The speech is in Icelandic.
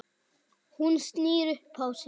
Hún snýr upp á sig.